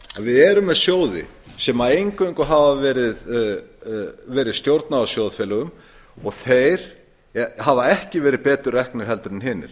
við erum með sjóði sem eingöngu hefur verið stjórnað af sjóðfélögum og þeir hafa ekki verið betur reknir en hinir